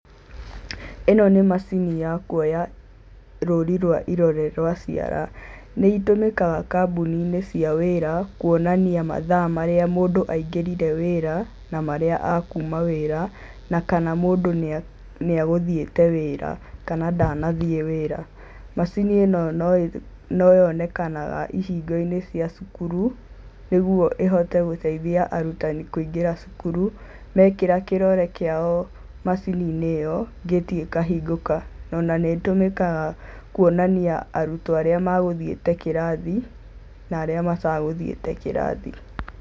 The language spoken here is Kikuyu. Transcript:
ĩno nĩ macini ya kuoya rũrĩ rwa irore rwa ciara, nĩ itũmĩkaga kambuni-inĩ cia wĩra kuonania mathaa marĩa mũndũ angĩrire wĩra na marĩa a kuma wĩra, na kana mũndũ nĩegũthiĩte wĩra kana ndanathiĩ wĩra. Macini ĩno no yonekanaga ihingo-inĩ cia cukuru nĩguo ĩhote gũteithia arutani kũingĩra cukuru, mekĩra kĩrore kĩao macini-inĩ ĩyo ngĩti ĩkahingũka o na nĩtũmĩkaga kuonania arutwo arĩa megũthiĩte kĩrathi na arĩa mategũthiĩte kirathi.